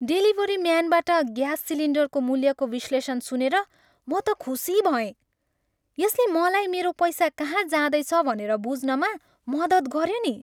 Delivery म्यानबाट gas सिलिन्डरको मूल्यको विश्लेषण सुनेर म त खुसी भएँ। यसले मलाई मेरो पैसा कहाँ जाँदैछ भनेर बुझ्नमा मद्दत गऱ्यो नि।